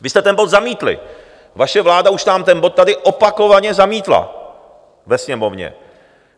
Vy jste ten bod zamítli, vaše vláda už nám ten bod tady opakovaně zamítla ve Sněmovně.